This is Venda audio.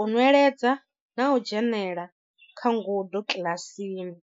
u nweledza na u dzhenela kha ngudo kiḽasini.